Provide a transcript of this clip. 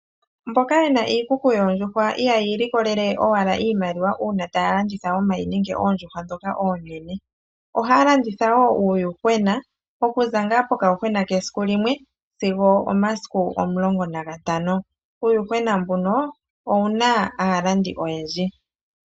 Mboka ye na iikuku yoondjuhwa ihaya ililikolelele owala iimaliwa uuna taya landitha omayi nenge oondjuhwa ndhoka oonene. Ohaya landitha wo uuyuhwena okuza ngaa pokayuhwena kesiku limwe sigo omasiku omulongo nagatano. Uuyuhwena mbuno owu na aalandi oyendji.